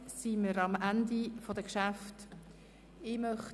Damit sind wir am Ende der Geschäfte angelangt.